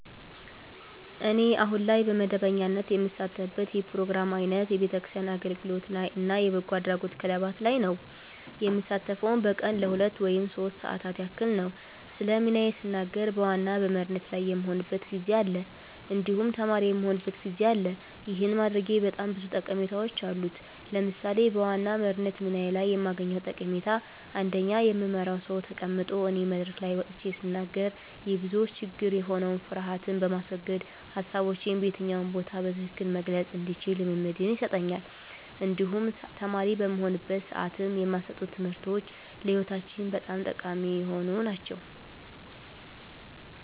እኔ አሁን ላይ በመደበኛነት የምሳተፍበት የፕሮግራም አይነት የቤተክርስቲያን አገልግሎት ላይ እና የበጎ አድራጎት ክለባት ላይ ነዉ። የምሳተፈዉም በቀን ለሁለት ወይም ሶስት ሰዓታት ያክል ነዉ። ስለ ሚናዬ ስናገር በዋና በመሪነት ላይ የምሆንበትም ጊዜ አለ እንዲሁም ተማሪ የምሆንበትም ጊዜ አለ ይህን ማድረጌ በጣም ብዙ ጠቀሜታዎች አሉት። ለምሳሌ በዋና መሪነት ሚና ላይ የማገኘዉ ጠቀሜታ አንደኛ የምመራዉ ሰዉ ተቀምጦ እኔ መድረክ ላይ ወጥቼ ስናገር የብዙዎች ችግር የሆነዉን ፍርሀትን በማስወገድ ሀሳቦቼን በየትኛው ቦታ በትክክል መግለፅ እንድችል ልምምድን ይሰጠኛል እንዲሁም ተማሪ በምሆንበት ሰዓትም የማሰጡን ትምህርቶች ለህይወታችን በጣም ጠቃሚ የሆኑ ናቸዉ።